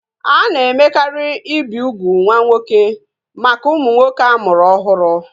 A na-emekarị ibi ugwu nwa nwoke maka ụmụ nwoke a mụrụ ọhụrụ